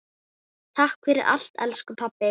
Takk fyrir allt elsku pabbi.